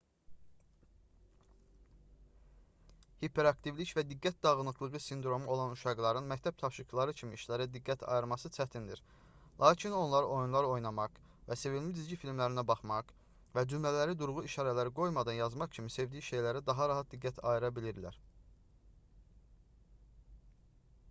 hiperaktivlik və diqqət dağınıqlığı sindromu olan uşaqların məktəb tapşırıqları kimi işlərə diqqət ayırması çətindir lakin onlar oyunlar oynamaq və sevimli cizgi filmlərinə baxmaq və cümlələri durğu işarələri qoymadan yazmaq kimi sevdiyi şeylərə daha rahat diqqət ayıra bilirlər